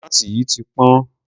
tòmátì yìí ti pọ́n.